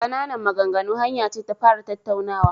Ƙananan maganganu hanya ce ta fara tattaunawa..